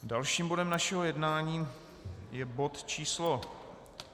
Dalším bodem našeho jednání je bod číslo